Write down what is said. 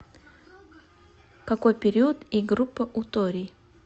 какой период и группа у торий